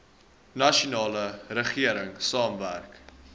nasionale regering saamwerk